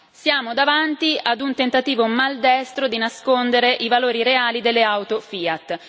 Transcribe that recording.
Siamo davanti ad un tentativo maldestro di nascondere i valori reali delle auto Fiat.